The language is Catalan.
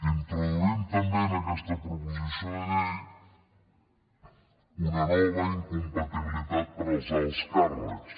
introduïm també en aquesta proposició de llei una nova incompatibilitat per als alts càrrecs